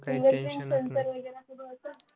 finger print sensor वगैरे